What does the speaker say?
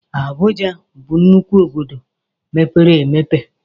Abụja bụ nnukwu obodo mepere emepe